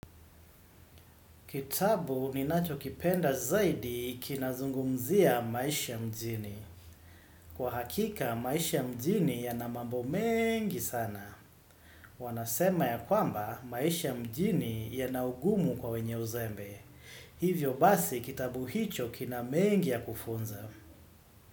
Kitabu ni nacho kipenda zaidi kinazungumzia maisha mjini. Kwa hakika, maisha mjini ya namambo mengi sana. Wanasema ya kwamba, maisha mjini ya naugumu kwa wenye uzembe. Hivyo basi kitabu hicho kina mengi ya kufunza.